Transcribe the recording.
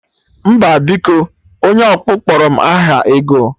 Mba biko, onye ọkpụ kpọrọ m aha ego